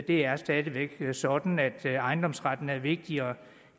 det er stadig væk sådan at ejendomsretten er vigtigere